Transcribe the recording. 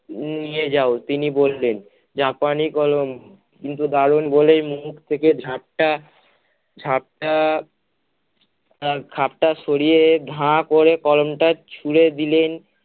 নিয়ে যাও তিনি বললেন, জাপানি কলম কিন্তু দারুন বলেই মুখ থেকে ঝাপটা ঝাপটা তার খাপটা সরিয়ে ধা করে কলমটা ছুঁড়ে দিলেন